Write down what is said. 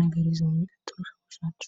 ልማድ ይዞ ያድጋል ።